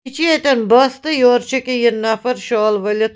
.یہِ چُھ ییٚتٮ۪ن بس تہٕ یورٕ چُھ أکیا یہِ نفر شال ؤلِتھ